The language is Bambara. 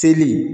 Seli